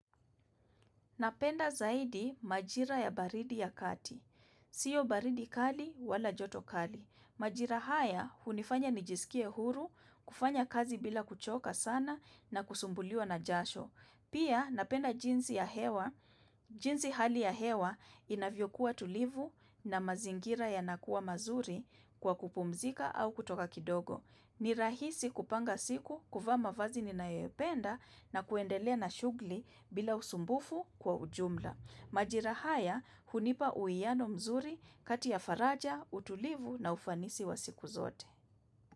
Napenda zaidi majira ya baridi ya kati. Sio baridi kali wala joto kali. Majira haya unifanya nijisikie huru, kufanya kazi bila kuchoka sana na kusumbuliwa na jasho. Pia napenda jinsi ya hewa. Jinsi hali ya hewa inavyo kuwa tulivu na mazingira ya nakuwa mazuri kwa kupumzika au kutoka kidogo. Ni rahisi kupanga siku kuvaa ma vazi ni na yopenda na kuendelea na shugli bila usumbufu kwa ujumla. Majira haya hunipa uwiano mzuri kati ya faraja, utulivu na ufanisi wa siku zote.